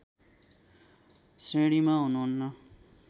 श्रेणीमा हुनुहुन्न